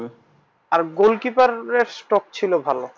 আর goal keeper stop ছিল ভালো